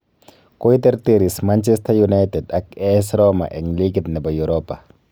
Koiterteris Manchesta United ak AS Roma eng ligit nebo Europa